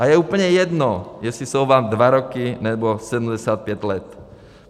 A je úplně jedno, jestli jsou vám dva roky, nebo 75 let.